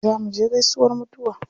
Za muje gaisuwar mutuwa.